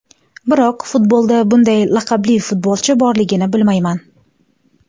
Biroq futbolda bunday laqabli futbolchi borligini bilmayman.